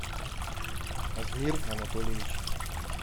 азмир анатольевич